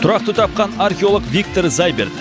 тұрақты тапқан археолог виктор зайберт